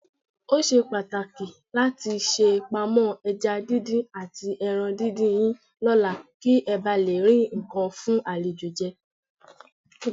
Ó ṣe pàtàkì láti ṣèpamọ́ ẹja díndín àtẹran díndín yín lọ́la kí ẹ bà lé rí nǹkan fún àlejò jẹ.